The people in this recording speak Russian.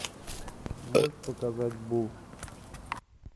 можешь показать буу